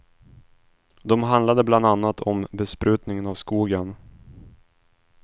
De handlade bland annat om besprutningen av skogen.